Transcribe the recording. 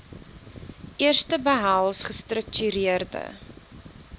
eerste behels gestruktureerde